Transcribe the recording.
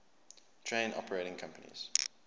train operating companies